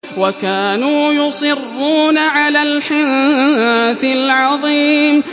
وَكَانُوا يُصِرُّونَ عَلَى الْحِنثِ الْعَظِيمِ